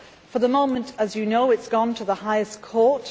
For the moment, as you know, it has gone to the highest court.